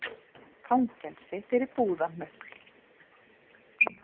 Fangelsi fyrir búðarhnupl